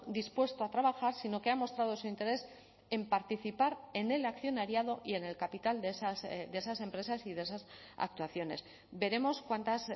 dispuesto a trabajar sino que ha mostrado su interés en participar en el accionariado y en el capital de esas empresas y de esas actuaciones veremos cuántas